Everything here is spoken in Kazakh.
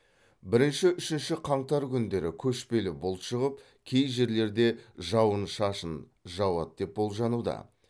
бірінші үшінші қаңтар күндері көшпелі бұлт шығып кей жерлерде жауын шашын жауады деп болжануда